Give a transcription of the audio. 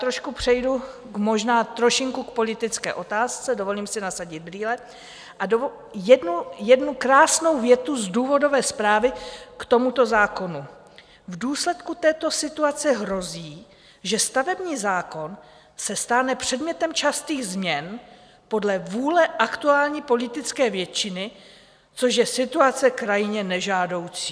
Trošku přejdu, možná trošinku k politické otázce, dovolím si nasadit brýle, a jednu krásnou větu z důvodové zprávy k tomuto zákonu: "V důsledku této situace hrozí, že stavební zákon se stane předmětem častých změn podle vůle aktuální politické většiny, což je situace krajně nežádoucí."